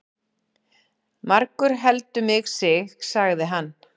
Margur heldur mig sig, sagði hann.